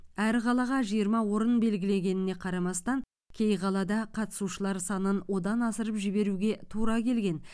әр қалаға жиырма орын белгілегеніне қарамастан кей қалада қатысушылар санын одан асырып жіберуге тура келген